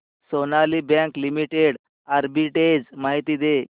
Sonali bank limited arbitrage माहिती दे